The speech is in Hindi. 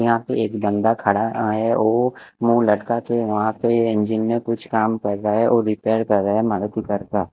यहाँ पे एक बंदा खड़ा है वो मुंह लटकाके वहाँ पे एंजिन मे कुछ काम कर रहा है वो रिपेयर कर रहा है करता--